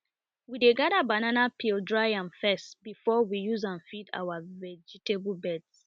we dey gather banana peel dry am first before we use am feed our vegetable beds